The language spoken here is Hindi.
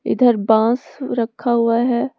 इधर बांस रक्खा हुआ है।